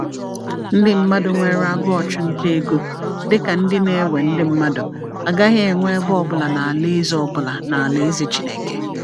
Ndị mmadụ nwere agụụ ọchụnta ego, dị ka ndị na-ewe ndị mmadụ, agaghị enwe ebe ọ bụla n’Alaeze ọ bụla n’Alaeze Chineke.